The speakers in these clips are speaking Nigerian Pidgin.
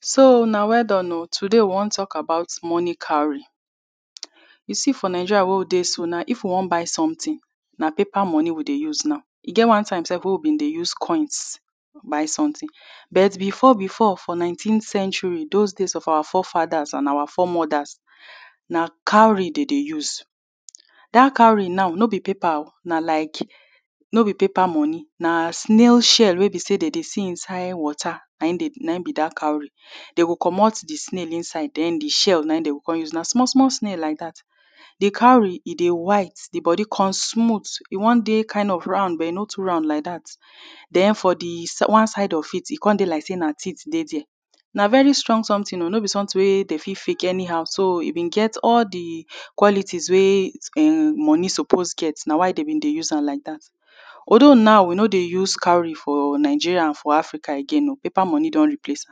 so una weldone o today we wan to talk about money cowry you see for Nigeria weh we deh so now if we wan buy something nah paper money we deh use now e get one time sef weh we deh use coins buy something but before before for nineteenth century those days of our forefathers and our foremothers nah cowry we deh use that cowry now no be paper o nah like no be paper money nah snail shell weh be say them deh see inside water nah in deh nah in be that cowry them go commot the snail inside then the shell nah in them go come use nah small small snail like that the cowry e deh white the body come smooth e wan deh kind of round but e no too round like that then for the one side of it e come deh like say nah teeth deh there nah very strong something o no be something wey they fit give it anyhow so e bin get all the qualities weh um money suppos get nah why them bin dey use am like that although now we no dey use cowry for Nigeria for Africa again paper money don replace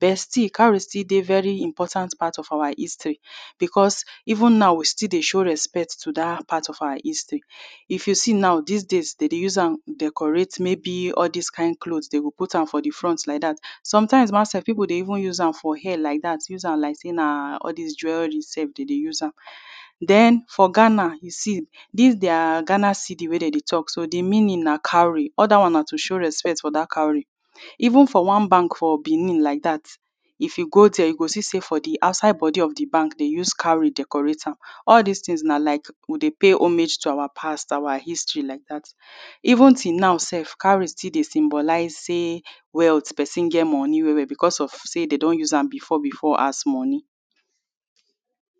but still cowry still dey very important part of our history because even now we still dey show respect to that part of our history if you see now this days them dey use am to decorate maybe all this kind cloths them go put for the front like that sometimes ma sef people dey even use am hair like that use am like say nah all these jewelry sef them dey use am then for Ghana you see this their Ghana cedi wey dem dey talk so the meaning nah cowry other one nah to show respect for that cowry even for one bank for Benin like that if you go there you go see say for the outside body of the bank they use cowry decorate am all this things nah like we dey pay homage to our past our history like that even till now sef cowry still dey symbolize say wealth the person get money well well because of say them don use am before as money